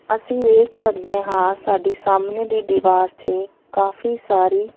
ਅੱਸੀ ਵੇਖ ਸਕਦੇ ਹਾਂ ਸਾਡੀ ਸਾਹਮਨੇ ਦੀ ਦਿਵਾਰ ਤੇ ਕਾਫੀ ਸਾਰੀ--